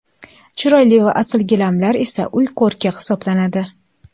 Chiroyli va asl gilamlar esa uy ko‘rki hisoblanadi.